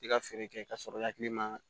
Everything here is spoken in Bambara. I ka feere kɛ k'a sɔrɔ i hakili ma